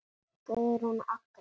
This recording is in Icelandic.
Guðrún Agnes.